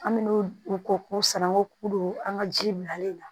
An mɛna o k'o sanko k'o don an ka ji bilalen na